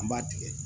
An b'a tigɛ